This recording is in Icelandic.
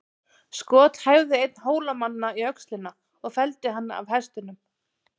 Skot hæfði einn Hólamanna í öxlina og felldi hann af hestinum.